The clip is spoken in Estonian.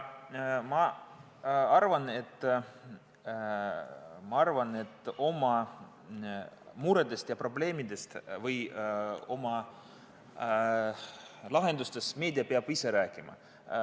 Aga ma arvan, et oma muredest ja probleemidest või oma lahendustest peab meedia ise rääkima.